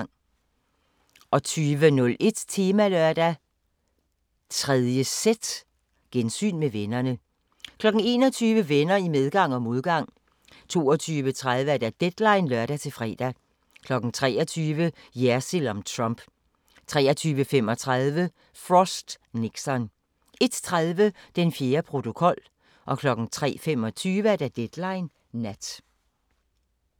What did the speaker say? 20:01: Temalørdag: 3.z – Gensyn med vennerne 21:00: Venner i medgang og modgang 22:30: Deadline (lør-fre) 23:00: Jersild om Trump 23:35: Frost/Nixon 01:30: Den fjerde protokol 03:25: Deadline Nat